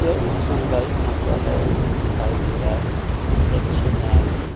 यह एक समुदायी शौंचालय दिखाई दे रहा है जिसमें स्वच्छ नारी --